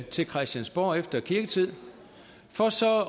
til christiansborg efter kirketid for så at